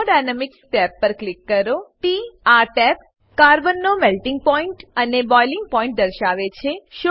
thermodynamics tab પર click કરો Tઆ ટેબ કાર્બન નો મેલ્ટિંગ પોઇન્ટ અને બોઇલિંગ પોઇન્ટ દર્શાવે છે